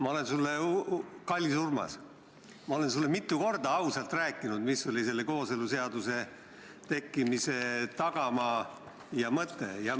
Ma olen sulle, kallis Urmas, mitu korda ausalt rääkinud, mis oli selle kooseluseaduse tekkimise tagamaa ja mõte.